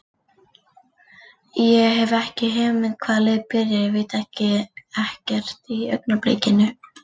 Ég hef ekki hugmynd hvaða lið byrjar, ég veit ekkert í augnablikinu.